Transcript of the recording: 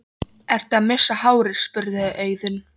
Ertu að missa hárið? spurði Auðunn.